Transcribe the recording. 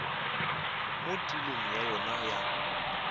mo tulong ya yona ya